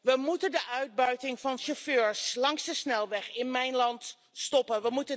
We moeten de uitbuiting van chauffeurs langs de snelweg in mijn land stoppen.